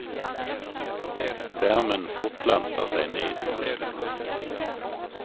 Värmen fortplantar sig ned i musklerna.